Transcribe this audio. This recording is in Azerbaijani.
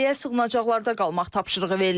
Əhaliyə sığınacaqlarda qalmaq tapşırığı verilib.